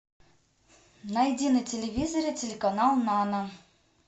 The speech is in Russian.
найди на телевизоре телеканал нано